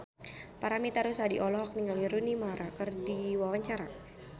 Paramitha Rusady olohok ningali Rooney Mara keur diwawancara